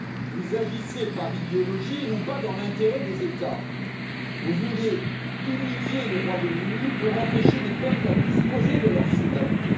Vous agissez par idéologie et non pas dans l'intérêt des États. Vous voulez humilier le Royaume Uni pour empêcher les peuples de disposer de leur souveraineté.